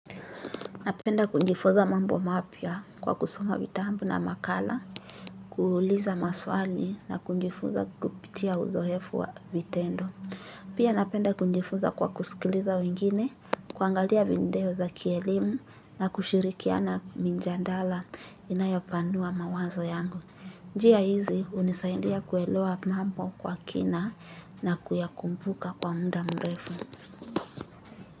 Napenda kujifunza mambo mapya kwa kusoma vitambu na makala, kuuliza maswali na kunjifuza kupitia uzoefu wa vitendo. Pia napenda kunjifuza kwa kusikiliza wengine, kuangalia vindeo za kielimu na kushirikiana minjandala inayopanua mawazo yangu. Njia hizi unisaindia kuelewa mambo kwa kina na kuyakumbuka kwa muda mrefu.